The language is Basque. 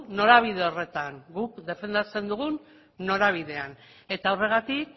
norabide horretan guk defendatzen dugun norabidean eta horregatik